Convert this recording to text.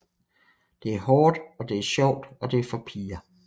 Det er hårdt og det er sjovt og det er for piger